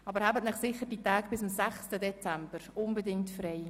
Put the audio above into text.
Aber halten Sie sich bitte die Tage bis und mit 6. Dezember unbedingt frei.